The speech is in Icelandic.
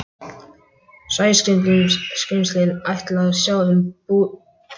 Sæskrímslin ætluðu að sjá um búsið.